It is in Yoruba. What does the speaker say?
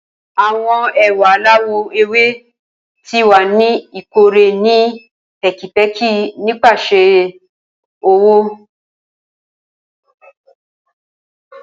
Awọn ewa alawọ ewe ti wa ni ikore ni pẹkipẹki nipasẹ ọwọ.